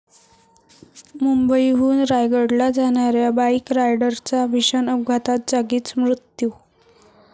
मुंबईहून रायगडला जाणाऱ्या बाईक रायडरचा भीषण अपघात, जागीच मृत्यू